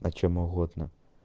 о чем угодно